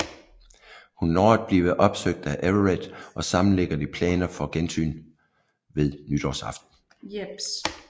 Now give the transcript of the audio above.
Hun når at blive opsøgt af Everett og sammen ligger de planer for gensyn ved nytårsaften